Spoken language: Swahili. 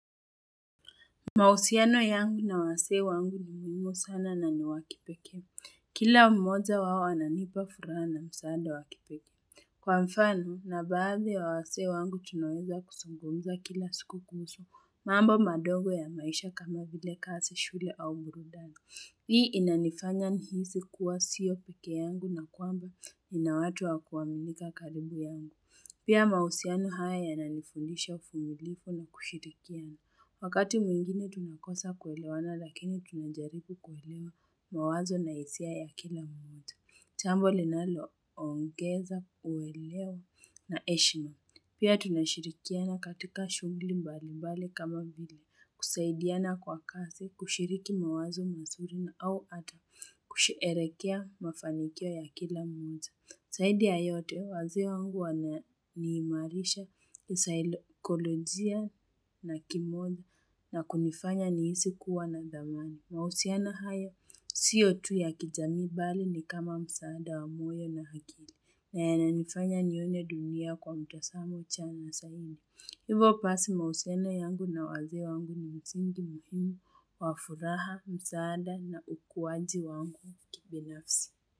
Mahusiano yangu na wazee wangu ni muhimu sana na ni wa kipekee. Kila mmoja wao ananipa furaha na msaada wa kipekee. Kwa mfano, kuna baadhi ya wazee wangu tunaweza kuzungumza kila siku kuhusu. Mambo madogo ya maisha kama vile kazi, shule au burudani. Hii inanifanya nihisi kuwa sio pekee yangu na kwamba nina watu wa kuaminika karibu yangu. Pia mahusiano haya yananifundisha uvumilivu na kushirikiana Wakati mwingine tunakosa kuelewana lakini tunajaribu kuelewa mawazo na hisia ya kila mmoja jambo linaloongeza uelewa na heshima. Pia tunashirikiana katika shughuli mbali mbali kama vile kusaidiana kwa kazi, kushiriki mawazo mazuri na au hata kusherehekea mafanikio ya kila mmoja. Zaidi ya yote, wazee wangu wananiimarisha kisaikolojia na kimoyo na kunifanya nihisi kuwa na dhamani. Mahusiano hayo, sio tu ya kijamii bali ni kama msaada wa moyo na akili. Na yananifanya nione dunia kwa mtazamo chanya zaidi. Hivyo basi mahusiano yangu na wazee wangu ni msingi muhimu, wa furaha, msaada na ukuaji wangu kibinafsi.